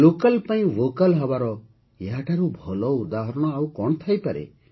local ପାଇଁ vocal ହେବାର ଏହାଠାରୁ ଭଲ ଉଦାହରଣ ଆଉ କ'ଣ ହୋଇପାରେ